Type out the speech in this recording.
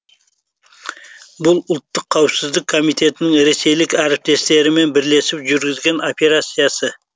бұл ұлттық қауіпсіздік комитетінің ресейлік әріптестерімен бірлесіп жүргізген операциясы